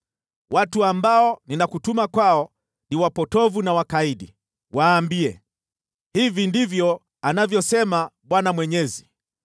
Watu ambao ninakutuma kwao ni wapotovu na wakaidi. Waambie, ‘Hivi ndivyo anavyosema Bwana Mwenyezi.’